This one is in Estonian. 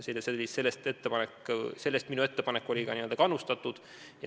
Sellest oli minu ettepanek ka kannustatud.